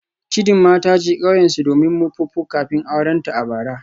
Chidima ta je kauyensu domin Mpopo kafin aurenta a bara.